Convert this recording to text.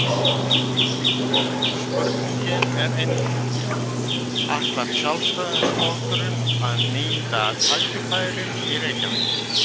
Spurningin er einföld: Ætlar Sjálfstæðisflokkurinn að nýta tækifærin í Reykjavík?